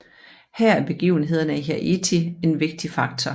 Her er begivenhederne i Haiti en vigtig faktor